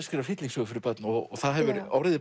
skrifa hryllingssögur fyrir börn og það hefur orðið